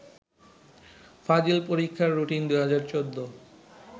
ফাজিল পরীক্ষার রুটিন ২০১৪